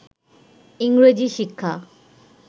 ইংরেজি শিক্ষা